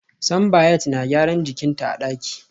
Simbiat na gyaran jikin ta a daki